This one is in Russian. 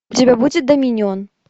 у тебя будет доминион